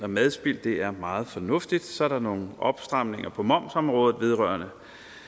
madspild det er meget fornuftigt så er der nogle opstramninger på momsområdet vedrørende